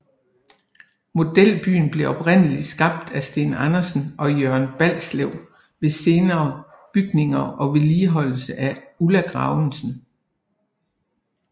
Modelbyen blev oprindeligt skabt af Steen Andersen og Jørgen Balslev med senere bygninger og vedligeholdelse af Ulla Gravesen